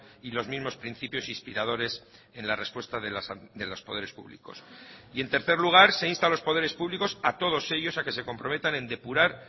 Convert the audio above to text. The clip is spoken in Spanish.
y los mismos principios inspiradores en la respuesta de los poderes públicos y en tercer lugar se insta a los poderes públicos a todos ellos a que se comprometan en depurar